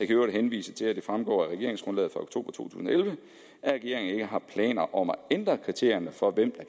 i øvrigt henvise til at det fremgår af regeringsgrundlaget fra to tusind og elleve at regeringen ikke har planer om at ændre kriterierne for hvem